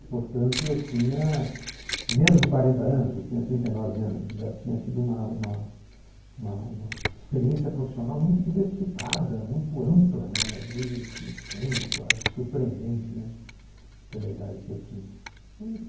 portanto, eu tinha menos de quarenta anos, eu tinha trinta e nove anos, já tinha tido uma uma uma uma uma experiência profissional muito diversificada, muito ampla, meio né estranha, quase surpreendente, né, pela idade que eu tinha.